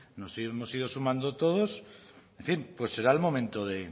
nos hemos ido sumando todos en fin pues será el momento de